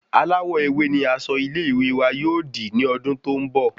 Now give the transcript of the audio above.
Aláwò ewé ni asọ ilé ìwé wa yóò di ni odun tó n bọ